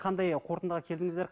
қандай қортындыға келдіңіздер